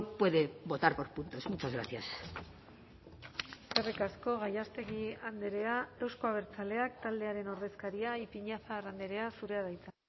puede votar por puntos muchas gracias eskerrik asko gallástegui andrea euzko abertzaleak taldearen ordezkaria ipiñazar andrea zurea da hitza